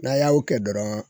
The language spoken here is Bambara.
N'a y'a o kɛ dɔrɔn